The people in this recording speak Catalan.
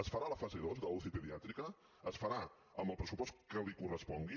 es farà la fase dos de la uci pediàtrica es farà amb el pressupost que li correspongui